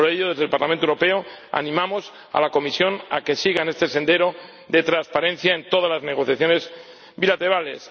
Por ello, desde el Parlamento Europeo, animamos a la Comisión a que siga en este sendero de transparencia en todas las negociaciones bilaterales.